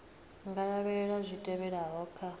nga lavhelela zwi tevhelaho kha